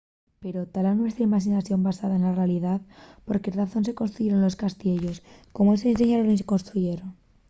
pero ¿ta la nuestra imaxinación basada na realidá? ¿por qué razón se construyeron los castiellos? ¿cómo se diseñaron y construyeron?